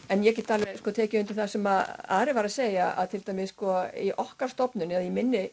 en ég get alveg tekið undir það sem Ari var að segja að til dæmis okkar stofnun eða í minni